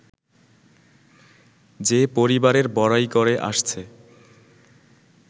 যে-পরিবারের বড়াই করে আসছে